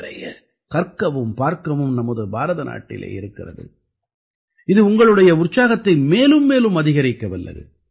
நிறைய கற்கவும் பார்க்கவும் நமது பாரத நாட்டிலே இருக்கிறது இது உங்களுடைய உற்சாகத்தை மேலும் மேலும் அதிகரிக்க வல்லது